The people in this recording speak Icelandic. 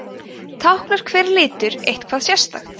táknar hver litur eitthvað sérstakt